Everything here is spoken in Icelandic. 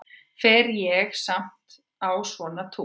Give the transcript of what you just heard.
Fer ég samt á svona túr?